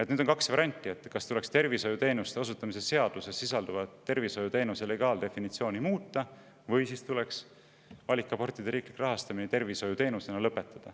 Nüüd on kaks varianti, kas tuleks muuta tervishoiuteenuste osutamise seaduses sisalduvat tervishoiuteenuse legaaldefinitsiooni või tuleks lõpetada valikabortide riiklik rahastamine tervishoiuteenusena.